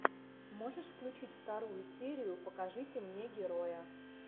можешь включить вторую серию покажите мне героя